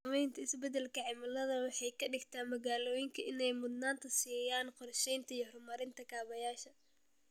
Saamaynta isbeddelka cimiladu waxay ka dhigtaa magaalooyinka inay mudnaanta siiyaan qorsheynta iyo horumarinta kaabayaasha.